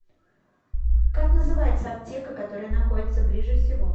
как называется аптека которая находится ближе всего